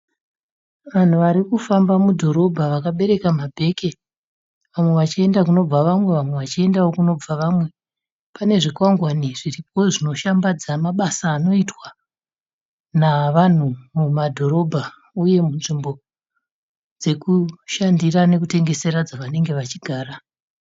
Vanhu varikufamba mudhorobha vakabereka mabheke vamwe vachienda kunobva vamwe, vamwe vachiendawo kunobva vamwe. Pane zvikwangwani zviripo zvinoshambadza mabasa anoitwa navanhu mumadhorobha uye munzvimbo dzekushandira nekutengesera dzavanenge vachigara